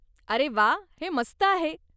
अरे वा, हे मस्त आहे!